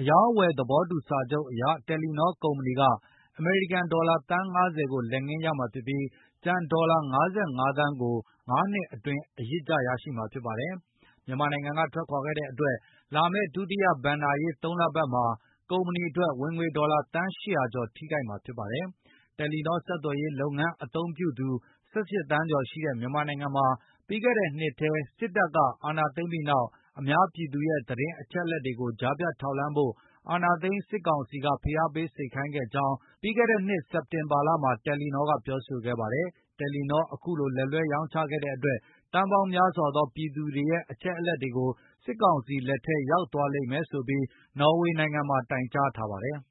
အရောင်းအဝယ် သဘောတူစာချုပ်အရ တယ်လီနောကုမ္ပဏီက အမေရိကန် ဒေါ်လာသန်း ၅၀ ကို လက်ငင်းရမှာဖြစ်ပြီး၊ ကျန်ဒေါ်လာ ၅၅ သန်းကို ၅ နှစ်အတွင်းအရစ်ကျ ရရှိမှာဖြစ်ပါတယ်။ မြန်မာနိုင်ငံက ထွက်ခွါခဲ့တဲ့အတွက်၊ လာမယ့် ဒုတိယဘဏ္ဍာရေး ၃ လပတ်မှာ ကုမ္ပဏီအတွက် ဝင်ငွေဒေါ်လာ သန်း ၈၀၀ ကျော် ထိခိုက်မှာဖြစ်ပါတယ်။ တယ်လီနော ဆက်သွယ်ရေးလုပ်ငန်း အသုံးပြုသူ ၁၈ သန်းကျော်ရှိတဲ့ မြန်မာနိုင်ငံမှာ ပြီးခဲ့တဲ့နှစ်ထဲ စစ်တပ်က အာဏာသိမ်းခဲ့ပြီးနောက် အများပြည်သူရဲ့ သတင်းအချက်အလက်တွေကို ကြားဖြတ် ထောက်လှမ်းဖို့ အာဏာသိမ်း စစ်ကောင်စီက ဖိအားပေး စေခိုင်းခဲ့ကြောင်း ပြီးခဲ့တဲ့နှစ် စက်တင်ဘာလမှာ တယ်လီနောက ပြောဆိုခဲ့ပါတယ်။ တယ်လီနောက အခုလို လက်လွဲရောင်းချခဲ့တဲ့အတွက် သန်းပေါင်းများစွာသော ပြည်သူတွေရဲ့အချက်အလက်တွေကို စစ်ကောင်စီလက်ထဲ ရောက်သွားလိမ့်မယ်ဆိုပြီး နော်ဝေနိုင်ငံမှာ တိုင်ကြားထားပါတယ်။